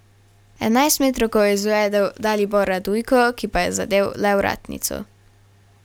Enajstmetrovko je izvedel Dalibor Radujko, ki pa je zadel le vratnico.